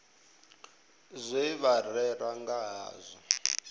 zwe vha rera nga hazwo